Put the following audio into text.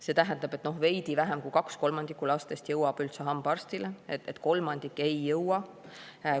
See tähendab, et veidi vähem kui kaks kolmandikku lastest jõuab üldse hambaarsti, kolmandik ei jõua.